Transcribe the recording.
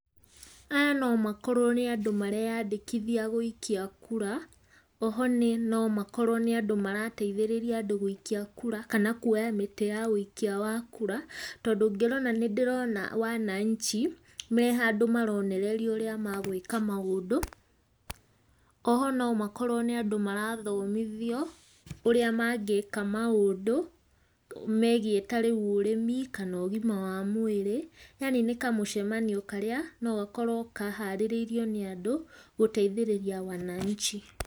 Aya no makorwo nĩ andũ mareyandĩkithia gũikia kura, oho no makorwo nĩ andũ marateithĩrĩria andũ gũikia kura, kana kuoya mĩtĩ ya ũikia wa kura, tondũ ngĩrora nĩ ndĩrona wananchi, me handũ maronererio ũrĩa magwĩka maũndũ, oho no makworwo nĩ andũ mara thomithio, ũrĩa mangĩka maũndũ, megiĩ ta rĩu ũrĩmi kana ũgima wa mwĩrĩ, yani nĩ kamũcemanio karĩa no gakorwo kaharĩrĩirio nĩ andũ gũteithĩrĩria wananchi.